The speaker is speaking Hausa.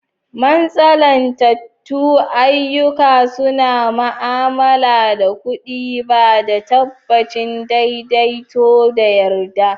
Mantsalantattun ayyuka suna ma'amala da kuɗi, ba da tabbacin daidaito da yarda.